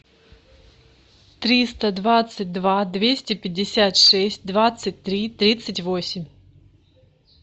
триста двадцать два двести пятьдесят шесть двадцать три тридцать восемь